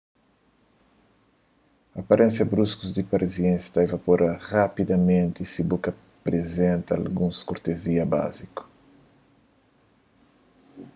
aparénsia brusku di parisienses ta ivapora rapidamenti si bu aprizenta alguns kortezia básiku